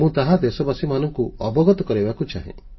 ମୁଁ ତାହା ଦେଶବାସୀମାନଙ୍କୁ ଅବଗତ କରାଇବାକୁ ଚାହେଁ